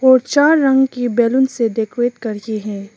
और चार रंग की बैलून से डेकोरेट करी है।